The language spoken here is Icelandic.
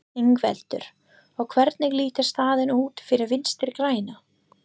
Ingveldur: Og hvernig lítur staðan út fyrir Vinstri-græna?